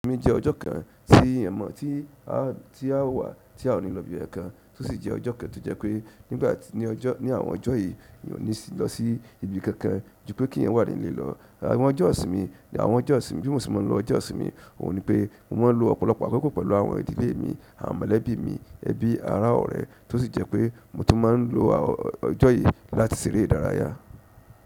Èni jẹ́ ọjọ́ kan tí ẹ̀yan mọ̀ tí a, tí a wà tí a ò ní lọ ibi kankan, tó sì jẹ́ ọjọ́ kan tó jẹ́ pé nígbà tí ní ọjọ́, ní àwọn ọjọ́ yìí mi ò ní lọ sí ibi kankan ju pé keyan wà nílé lọ. Àwọn ọjọ́ ìsinmi, àwọn ọjọ́ ìsinmi bí mo ṣe máa ń lọ ọjọ́ ìsinmi òun ni pé mo máa ń lo ọ̀pọ̀lọpọ̀ àkọ́kọ́ pẹ̀lú àwọn ìdílé mi, àwọn mọ̀lẹ́bí mi, ẹbí ará ọ̀rẹ́ tó sì jẹ́ pé mo tún máa ń lo ọjọ́ yìí láti ṣeré ìdárayá.